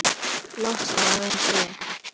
Losna við þig?